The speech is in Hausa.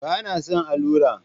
Ba na son allura